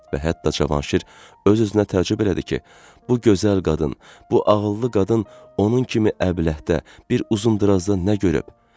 Və hətta Cavanşir öz-özünə təəccüb elədi ki, bu gözəl qadın, bu ağıllı qadın onun kimi əbləhdə bir uzundırazda nə görüb?